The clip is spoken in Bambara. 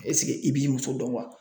i b'i muso dɔn wa?